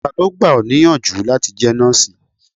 Ta ló gbà ọ níyànjú láti jẹ́ nọ́ọ̀sì?